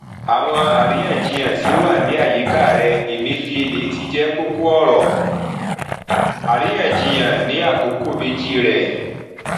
àwọn àríyànjiyàn tí ó wà ní àyíká rẹ emefiele ti jẹ kókó ọrọ àríyànjiyàn ní àkókò méjì rẹ